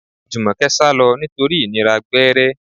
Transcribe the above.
Jumoke sálọ nítorí ìnira gbẹ́rẹ́.